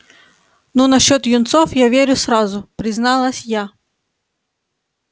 ну насчёт юнцов я верю сразу призналась я